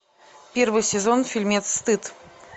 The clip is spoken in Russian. первый сезон фильмец стыд